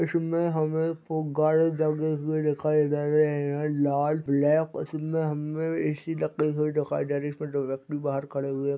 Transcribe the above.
इसमें हमे फुगारे लगे हुए दिखाई दे रहे है यह लाल ब्लैक और इसमें हमे ऐ_सी लगे दिखाई दे रही है इसमें दो व्यक्ति बहार खरे हुए--